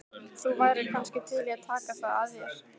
Þú værir kannski til í að taka það að þér?